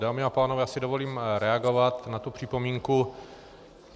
Dámy a pánové, já si dovolím reagovat na tu připomínku.